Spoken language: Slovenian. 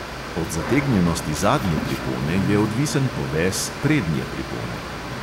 Od zategnjenosti zadnje pripone je odvisen poves prednje pripone.